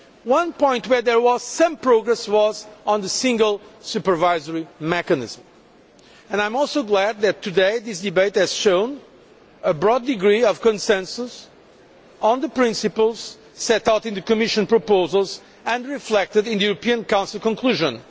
One point where there was some progress was on the single supervisory mechanism and I am also glad that this debate today has shown a broad degree of consensus on the principles set out in the Commission proposals and reflected in the European Council conclusions.